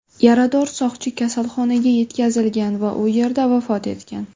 Yarador soqchi kasalxonaga yetkazilgan va u yerda vafot etgan.